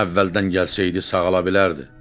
Əvvəldən gəlsəydi sağala bilərdi.